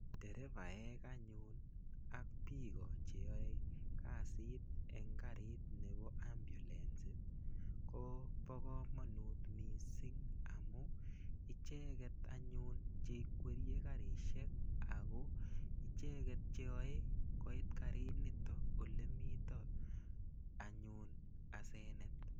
Derevaek anyun ak biko cheyoei kasit eng karit nebo ambulance ko bo komonut mising amu icheket anyun cheikweriei karishek ako icheket cheyoei koit karit nito olemito anyun asenet